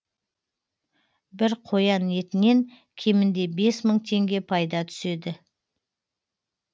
бір қоян етінен кемінде бес мың теңге пайда түседі